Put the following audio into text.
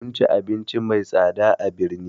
Mun ci abinci mai tsada a birni